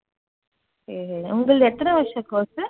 உங்களது எத்தனை வருஷ course உ?